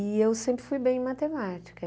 E eu sempre fui bem em matemática.